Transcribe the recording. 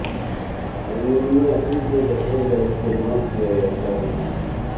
ammonia این کے قطرے کا استعمال کیا جاتا ہے